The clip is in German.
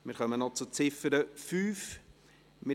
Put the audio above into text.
Wir stimmen über die Ziffer 5 ab.